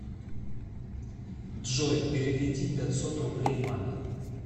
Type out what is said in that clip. джой переведи пятьсот рублей маме